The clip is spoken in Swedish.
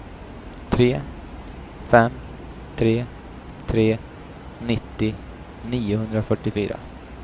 tre fem tre tre nittio niohundrafyrtiofyra